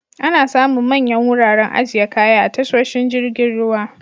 Ana samun manyan wuraren ajiye kaya a tasoshin jirgin ruwa.